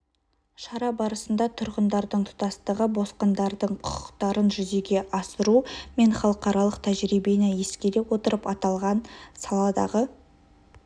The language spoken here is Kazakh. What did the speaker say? шара барысында тұрғындардың тұтастығы босқындардың құқықтарын жүзеге асыру мен халықаралық тәжірибені ескере отырып аталған саладағы